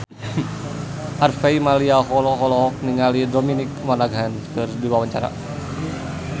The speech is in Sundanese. Harvey Malaiholo olohok ningali Dominic Monaghan keur diwawancara